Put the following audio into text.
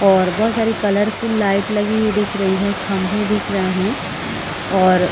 और बोहोत सारी कलरफुल लाइट लगी हुई दिख रही है खम्बे दिख रहे है और--